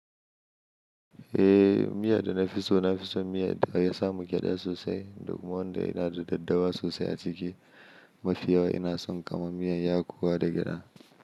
Eh, miya da nafiso nafiso miya da ya samu gyada sosai, duk wanda yana da daddawa sosai a ciki. Mafi yawa inason kama miyan yakuwa da gyada.